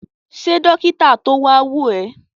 Ṣe dókítà to wa wo ẹ?